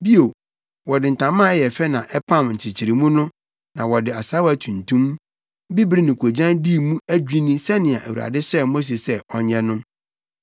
Bio, wɔde ntama a ɛyɛ fɛ na ɛpam nkyekyeremu no na wɔde asaawa tuntum, bibiri ne koogyan dii mu adwinni sɛnea Awurade hyɛɛ Mose sɛ ɔnyɛ no.